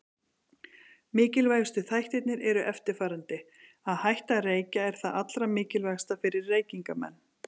Mikilvægustu þættirnir eru eftirfarandi: Að hætta að reykja er það allra mikilvægasta fyrir reykingamenn.